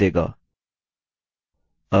अब else भाग